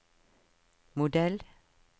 modell